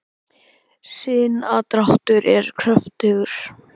sinadráttur er kröftugur